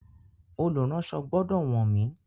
Olùránsọ gbọ́dọ̀ wọ́n mi.